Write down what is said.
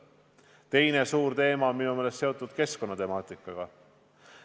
Teine suur teema on minu meelest seotud keskkonnaga.